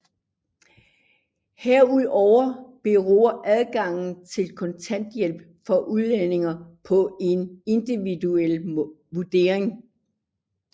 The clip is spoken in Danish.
Herudover beror adgangen til kontanthjælp for udlændinge på en individuel vurdering